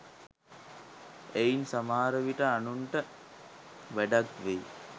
එයින් සමහර විට අනුන්ට වැඩක් වෙයි